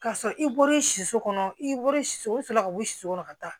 K'a sɔrɔ i bɔra soso kɔnɔ i bɔra so sɔrɔla ka bɔ so kɔnɔ ka taa